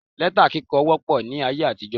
Lẹ́tà kíkọ wópọ̀ ní ayé àtijó